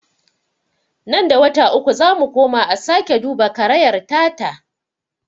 Nan da wata uku zamu koma a sake duba karayar ta ta.